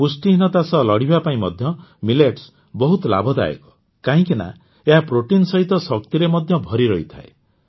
ପୁଷ୍ଟିହୀନତା ସହ ଲଢ଼ିବା ପାଇଁ ମଧ୍ୟ ମିଲେଟ୍ସ ବହୁତ ଲାଭଦାୟକ କାହିଁକି ନା ଏହା ପ୍ରୋଟିନ ସହିତ ଶକ୍ତିରେ ମଧ୍ୟ ଭରିରହିଥାଏ